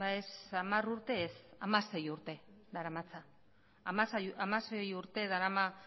ez hamar urte ez hamasei urte daramatza hamasei urte darama